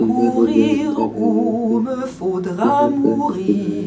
सुंदर और बेहतर है जो कि यहाँ हर तरह की सुविधाएं हैं।